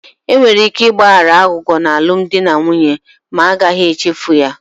Enwere ike ịgbaghara aghụghọ n'alụmdi na nwunye ma a gaghị echefu ya